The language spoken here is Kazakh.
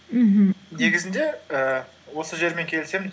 мхм негізінде і осы жермен келісемін